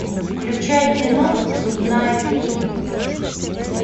включай кино зубная фея